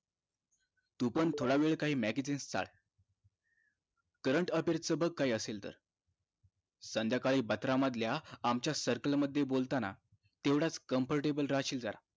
तु पण थोडा वेळ काहि magzine चाळ current affairs च बघ काहि असेल तर संध्याकाळी बत्रा मधल्या आमच्या circle मध्ये बोलताना तेवढाच comfortable राहशील जरा